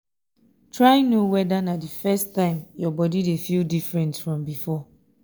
try no weda na di first time yur body dey feel diffrent from bifor